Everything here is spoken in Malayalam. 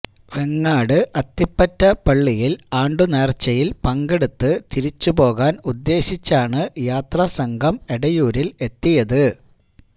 വെങ്ങാട് അത്തിപ്പറ്റ പള്ളിയിൽ ആണ്ടുനേർച്ചയിൽ പങ്കെടുത്ത് തിരിച്ചുപോകാൻ ഉദ്ദേശിച്ചാണ് യാത്രാസംഘം എടയൂരിൽ എത്തിയത്